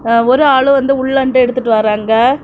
ஒரு ஆளு வந்து உள்ள இருந்து எடுத்துட்டு வாராங்க.